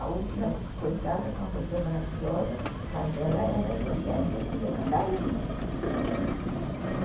A última que ficou em casa foi uma pessoa maravilhosa, mas ela era evangélica e queria cantar hino.